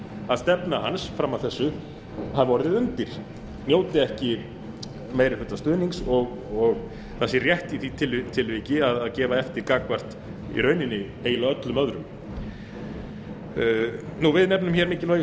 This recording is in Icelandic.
að stefna hans fram að þessu hafi orðið undir njóti ekki meiri hluta stuðnings og það sé rétt í því tilviki að gefa eftir gagnvart í rauninni eiginlega öllum öðrum við nefnum mikilvægi